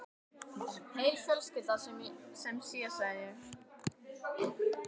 Heil fjölskylda sem sé, sagði ég.